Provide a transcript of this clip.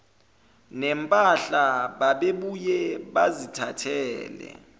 nempahla babebuye bazithathele